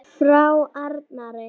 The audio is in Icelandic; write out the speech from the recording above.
Frá Arnari?